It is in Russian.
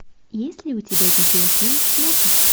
есть ли у тебя видеофильм смокинг